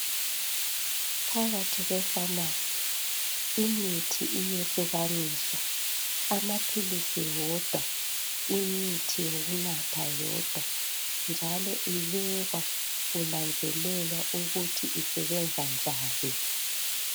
Phakathi kwe famasi imithi iyehlukaniswa amaphilisi wodwa imithi yokunatha yodwa njalo ibekwa kunanzelelwa ukuthi isebenza njani.